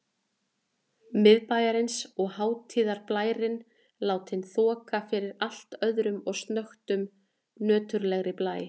Miðbæjarins og hátíðarblærinn látinn þoka fyrir allt öðrum og snöggtum nöturlegri blæ.